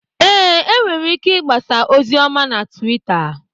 Ee, e nwere ike igbasa ozi ọma na Tuwita.